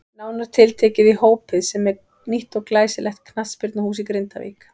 Nánar tiltekið í Hópið sem er nýtt og glæsilegt knattspyrnuhús í Grindavík.